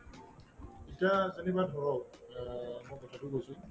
এতিয়া ধৰক অ মই কথাটো কৈছো